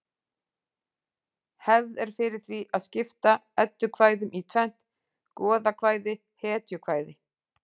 Hefð er fyrir því að skipta eddukvæðum í tvennt: goðakvæði hetjukvæði